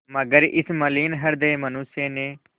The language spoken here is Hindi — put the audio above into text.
मगर इस मलिन हृदय मनुष्य ने